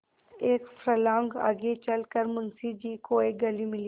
एक फर्लांग आगे चल कर मुंशी जी को एक गली मिली